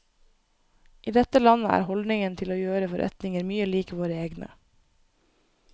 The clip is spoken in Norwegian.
I dette landet er holdningen til å gjøre forretninger mye lik våre egne.